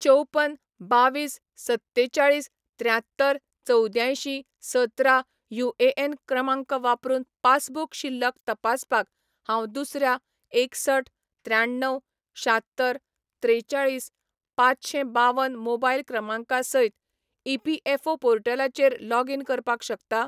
चौपन बावीस सत्तेचाळीस त्र्यांत्तर चवद्यांयशीं सतरा युएएन क्रमांक वापरून पासबुक शिल्लक तपासपाक हांव दुसऱ्या एकसठ त्र्याण्णव शात्तर त्रेचाळीस पांचशें बावन मोबायल क्रमांका सयत ईपीएफओ पोर्टलाचेर लॉगीन करपाक शकता ?